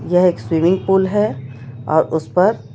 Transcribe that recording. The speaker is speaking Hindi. यह एक स्विमिंग पूल है अ उस पर--